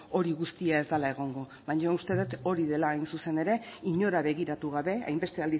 hori guztia ez dela egongo baina uste dut hori dela hain zuzen ere inora begiratu gabe hainbeste